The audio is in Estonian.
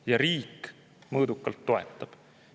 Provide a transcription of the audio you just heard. Ja riik mõõdukalt toetab.